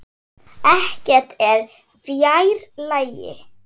Ekkert er fjær lagi.